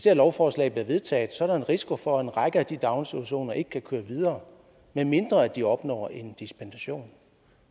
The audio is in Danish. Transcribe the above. her lovforslag bliver vedtaget er der en risiko for at en række af de daginstitutioner ikke kan køre videre medmindre de opnår en dispensation